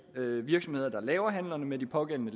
virksomheder der laver handlerne med de pågældende